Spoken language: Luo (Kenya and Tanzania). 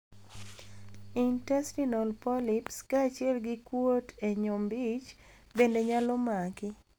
Intestinal polyps kachiel gi kuot e nyombich bende nyalo maki.